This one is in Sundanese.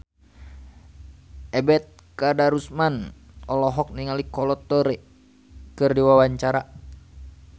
Ebet Kadarusman olohok ningali Kolo Taure keur diwawancara